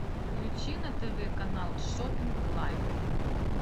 включи на тв канал шопинг лайф